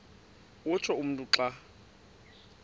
utsho umntu xa